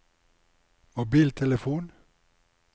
mobiltelefon